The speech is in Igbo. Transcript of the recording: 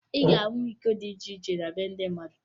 Ị ga-ahụ iko dị iche iche na be ndị mmadụ